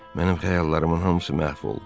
Mənim xəyallarımın hamısı məhv oldu.